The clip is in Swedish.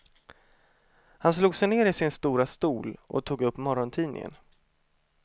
Han slog sig ner i sin stora stol och tog upp morgontidningen.